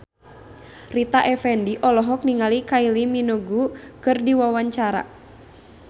Rita Effendy olohok ningali Kylie Minogue keur diwawancara